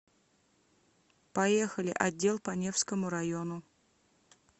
поехали отдел по невскому району